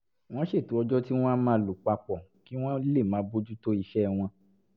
wọ́n ṣètò ọjọ́ tí wọ́n á máa lò pa pọ̀ kí wọ́n lè máa bójú tó iṣẹ́ wọn